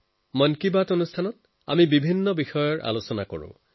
মন কী বাতত আমি বেলেগ বেলেগ ভিন্ন ধৰণৰ অনেক বিষয়ৰ ওপৰত কথা পাতো